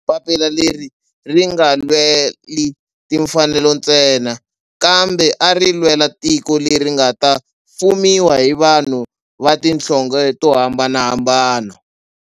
Papila leri a ri nga lweli timfanelo ntsena kambe a ri lwela tiko leri nga ta fumiwa hi vanhu va tihlonge to hambanahambana.